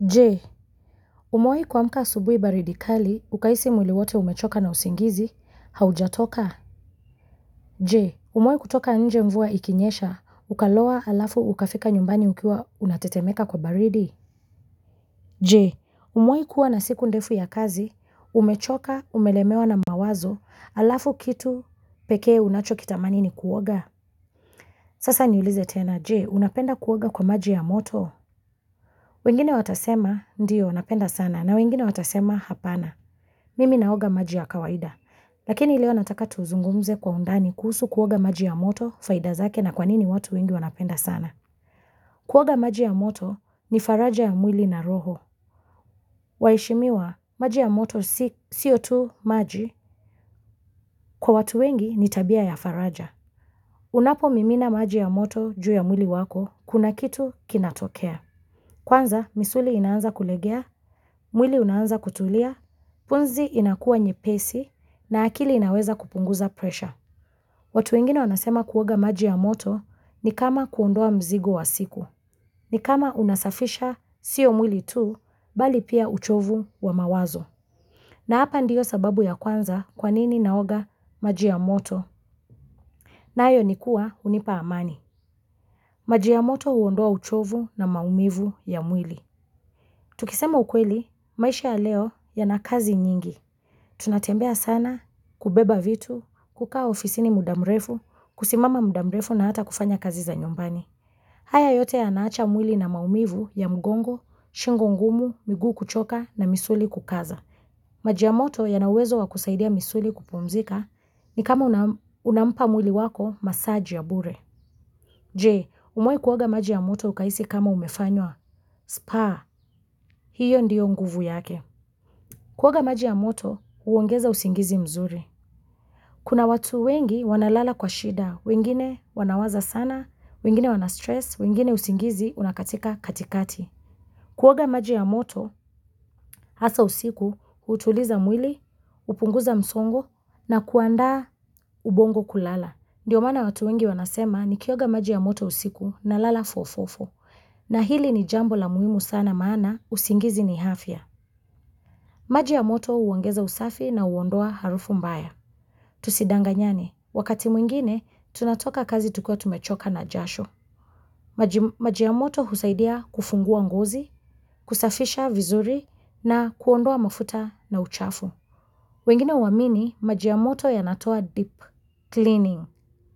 Jee, umewai kuamka asubui baridi kali, ukahisi mwili wote umechoka na usingizi, haujatoka? Jee, umewai kutoka nje mvua ikinyesha, ukaloa alafu ukafika nyumbani ukiwa unatetemeka kwa baridi? Jee, umewai kuwa na siku ndefu ya kazi, umechoka, umelemewa na mawazo, alafu kitu pekee unacho kitamani ni kuoga? Sasa niulize tena, Jee, unapenda kuoga kwa maji ya moto? Wengine watasema, ndio, napenda sana, na wengine watasema, hapana. Mimi naoga maji ya kawaida, lakini leo nataka tuzungumze kwa undani kuhusu kuoga maji ya moto faida zake na kwanini watu wengi wanapenda sana. Kuoga maji ya moto ni faraja ya mwili na roho. Waheshimiwa maji ya moto sio tu maji kwa watu wengi ni tabia ya faraja. Unapo mimina maji ya moto juu ya mwili wako, kuna kitu kinatokea. Kwanza, misuli inaanza kulegea, mwili unaanza kutulia, pumzi inakuwa nye pesi, na akili inaweza kupunguza pressure. Watu wengine wanasema kuoga maji ya moto ni kama kuondoa mzigo wa siku, ni kama unasafisha siyo mwili tu, bali pia uchovu wa mawazo. Na hapa ndiyo sababu ya kwanza kwanini naoga maji ya moto, nayo nikua unipa amani. Maji ya moto uondoa uchovu na maumivu ya mwili. Tukisema ukweli, maisha ya leo ya na kazi nyingi. Tunatembea sana kubeba vitu, kukaa ofisini muda mrefu, kusimama mudamrefu na hata kufanya kazi za nyumbani. Haya yote ya naacha mwili na maumivu ya mgongo, shingo ngumu, miguu kuchoka na misuli kukaza. Maji ya moto ya nauwezo wa kusaidia misuli kupumzika ni kama unampa mwili wako massage ya bure. Jee, umewai kuoga maji ya moto ukahisi kama umefanywa. Spaa, hiyo ndiyo nguvu yake. Kuoga maji ya moto, huongeza usingizi mzuri. Kuna watu wengi wanalala kwa shida, wengine wanawaza sana, wengine wana stress, wengine usingizi, unakatika katikati. Kuoga maji ya moto, hasa usiku, utuliza mwili, upunguza msongo, na kuandaa ubongo kulala. Ndiyo maana watu wengi wanasema nikioga maji ya moto usiku na lala fo fo fo, na hili ni jambo la muhimu sana maana usingizi ni afya. Maji ya moto uongeza usafi na uondoa harufu mbaya. Tusidanganyane, wakati mwingine, tunatoka kazi tukiwa tumechoka na jasho. Maji ya moto husaidia kufungua ngozi, kusafisha vizuri na kuondoa mafuta na uchafu. Wengine uamini, maji ya moto ya natoa deep cleaning